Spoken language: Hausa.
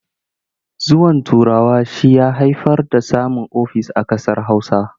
Zuwan Turawa shi ya haifar da samun ofis a ƙasar Hausa.